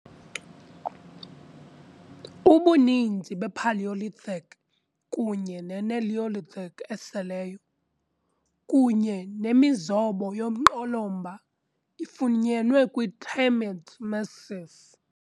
Ubuninzi bePalaeolithic kunye ne-Neolithic eseleyo, kunye nemizobo yomqolomba, ifunyenwe kwi-Termit Massif.